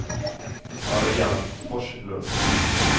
Mariann Forslund